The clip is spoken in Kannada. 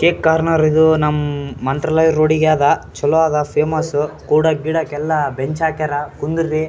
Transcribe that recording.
ಕೇಕ್ ಕೋರ್ನರ್ ಇದು ನಮ್ ಮ್ ಮಂತ್ರಾಲಯ ರೋಡ್ ಗೆ ಆದ ಚಲೋ ಆದ ಫೇಮಸ್ಸ್ ಕೂಡಕ್ ಗೀಡಕ್ ಎಲ್ಲ ಬೆಂಚ್ ಹಾಕ್ಯಾರ ಕುಂದ್ ರಿ --